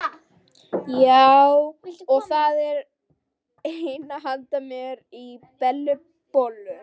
Já, og það á að henda mér í Bellu bollu.